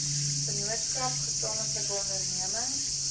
vennootskap gesamentlike onderneming